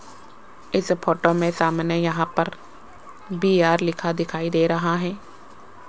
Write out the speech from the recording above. इस फोटो में सामने यहां पर बी_आर लिखा दिखाई दे रहा है।